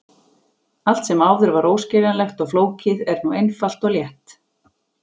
Allt sem áður var óskiljanlegt og flókið er nú einfalt og létt.